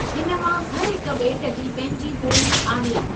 हिन मां हर हिकु बे॒ट जी पंहिंजी बो॒ली आहे।